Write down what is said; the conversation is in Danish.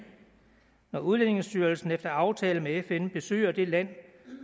når udlændingestyrelsen efter aftale med fn besøger det land